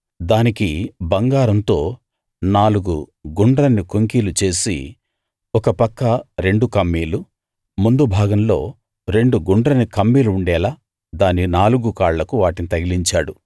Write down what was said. దానికి బంగారంతో నాలుగు గుండ్రని కొంకీలు చేసి ఒక పక్క రెండు కమ్మీలు ముందు భాగంలో రెండు గుండ్రని కమ్మీలు ఉండేలా దాని నాలుగు కాళ్లకు వాటిని తగిలించాడు